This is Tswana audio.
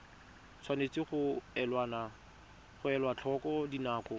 tshwanetse ga elwa tlhoko dinako